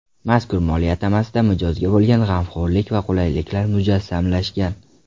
Mazkur moliya atamasida mijozga bo‘lgan g‘amxo‘rlik va qulaylik mujassamlashgan.